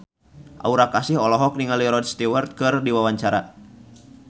Aura Kasih olohok ningali Rod Stewart keur diwawancara